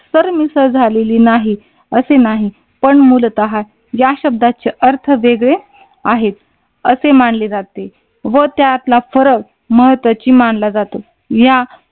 Sir मिसळ झालेली नाही असे नाही. पण मुलताहा या शब्दाचे अर्थ वेगळे आहेत असे मानले जाते व त्यातला फरक महत्त्वाची मानला जातो. या